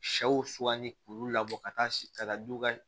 Sɛw suganti k'olu labɔ ka taa buw ka